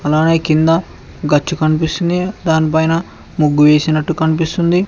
దాని కింద గచ్చు కనిపిస్తుంది దాని పైన ముగ్గు వేసినట్టు కనిపిస్తుంది.